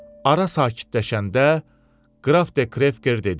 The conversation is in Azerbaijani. Ara sakitləşəndə qraf De Krevker dedi: